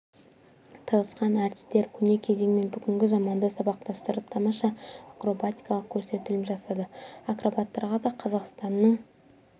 тырысқан әртістер көне кезең мен бүгінгі заманды сабақтастырып тамаша акробатикалық көрсетілім жасады акробаттарға да қазақстанның